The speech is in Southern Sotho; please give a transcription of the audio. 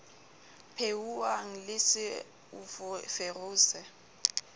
phehuwang le se o ferose